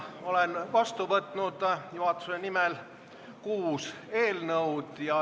Olen juhatuse nimel vastu võtnud kuus eelnõu.